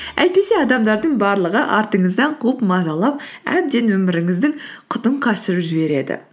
әйтпесе адамдардың барлығы артыңыздан қуып мазалап әбден өміріңіздің құтын қашырып жібереді